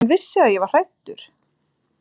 Hann vissi að ég var hræddur.